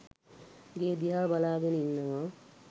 ගේ දිහා බලාගෙන ඉන්නවා.